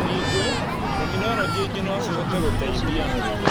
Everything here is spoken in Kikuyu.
Ningĩ, tekinoronjĩ ingĩ no cihote gũteithia